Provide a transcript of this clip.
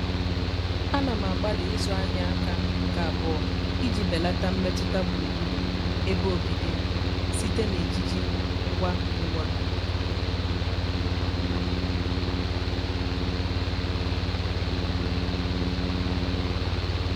à nà m àgbàlị́ ị́zụ́ áhị́à áká nke àbụọ́ iji bèlàtá mmètụ́ta gburugburu ebe obibi m site na ejiji ngwa ngwa.